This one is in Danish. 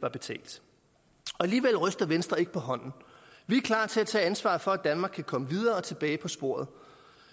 var betalt alligevel ryster venstre ikke på hånden vi er klar til at tage ansvaret for at danmark kan komme videre og tilbage på sporet